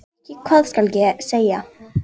Ég veit ekki hvað skal segja.